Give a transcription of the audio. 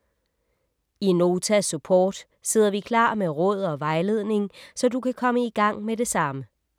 I Nota Support sidder vi klar med råd og vejledning, så du kan komme i gang med det samme.